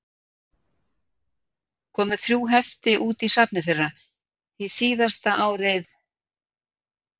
Komu þrjú hefti út í safni þeirra, hið síðasta árið